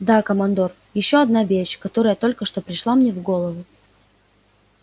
да командор ещё одна вещь которая только что пришла мне в голову